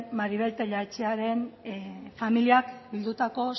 maribel tellaetxearen familiak bildutako